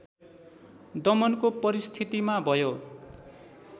दमनको परिस्थितिमा भयो